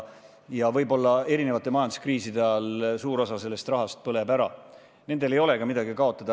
Kui erinevate majanduskriiside ajal suur osa sellest rahast põleb ära, ei ole nendel peaaegu midagi kaotada.